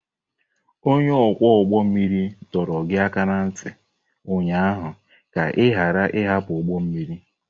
Onye ọkwọ ụgbọ mmiri dọrọ gị aka ná ntị ụnyaahụ ka ị ghara ịhapụ ụgbọ mmiri!